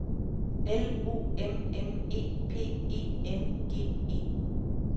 L O M M E P E N G E